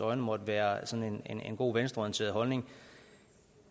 øjne måtte være sådan en god venstreorienteret holdning